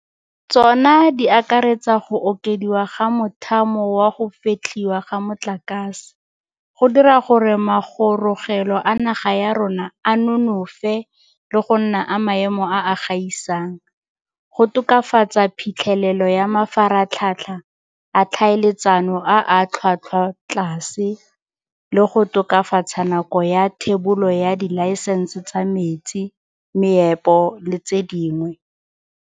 Tsona di akaretsa go okediwa ga mothamo wa go fetlhiwa ga motlakase, go dira gore magorogelo a naga ya rona a nonofe le go nna a maemo a a gaisang, go tokafatsa phitlhelelo ya mafaratlhatlha a tlhaeletsano a a tlhwatlhwatlase, le go tokafatsa nako ya thebolo ya dilaesense tsa metsi, meepo le tse dingwe.